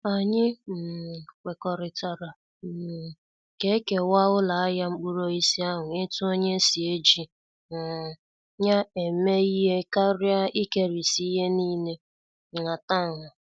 Anyị um kwekọrịtara um ka- ekewa uloahia mkpuruosisi ahụ etu onye si eji um ya eme ihe karịa ikerisi ihe niile nhatanha